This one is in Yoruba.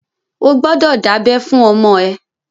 O gbọ́dọ̀ dábẹ́ fún ọmọ ẹ!